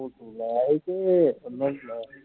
ਹੁਣ ਤੂੰ ਲਾਹ ਆਈ ਕੇ ਏਦਾਂ ਹੀ ਚਲਾਇਆ